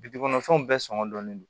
Bi dugukɔnɔ fɛnw bɛɛ sɔngɔn ne don